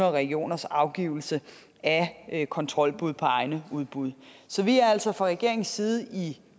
og regioners afgivelse af kontrolbud på egne udbud så vi er altså fra regeringens side i